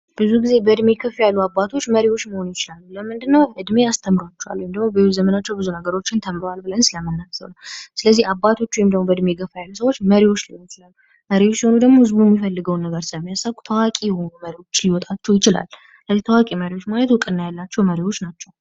ብዙ ጊዜ በዕድሜ ከፍ ያሉ አባቶች መሪዎች መሆን ይችላሉ። ለምንድነው? እድሜ አስተምሯቸዋል ሁሉ እንደወሰናችሁ ብዙ ነገሮችን ተምረናል. ብለን ስለምናምን ስለዚህ አባቶች ወይም የገበያ ሰዎች መሪዎች ለኑክሌር አይሁድም ወድቀው ነበር, ሰሚ አሰብኩ ችሎታቸው ይችላል. ለዚህ ታዋቂ መሪዎች ማለቱ ነው ያላቸው መሪዎች ናቸው.